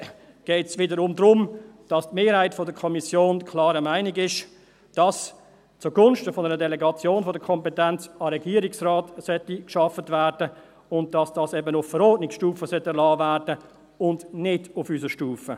Da geht es wiederum darum, dass die Mehrheit der Kommission der klaren Meinung ist, dass zugunsten einer Delegation der Kompetenz an den Regierungsrat gearbeitet werden sollte, und dass das eben auf Verordnungsstufe erlassen werden sollte und nicht auf unserer Stufe.